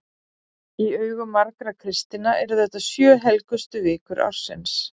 Í augum margra kristinna eru þetta sjö helgustu vikur ársins.